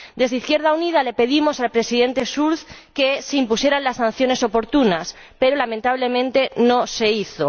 Desde Izquierda Unida le pedimos al Presidente Schulz que se impusieran las sanciones oportunas, pero lamentablemente no se hizo.